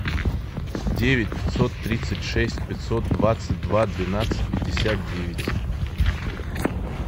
девять пятьсот тридцать шесть пятьсот двадцать два двенадцать пятьдесят девять